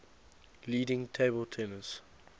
leading table tennis